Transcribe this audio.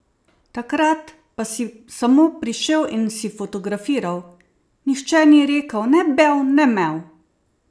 Takrat pa si samo prišel in si fotografiral: "Nihče ni rekel ne bev ne mev.